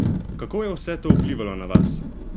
Kako je vse to vplivalo na vas?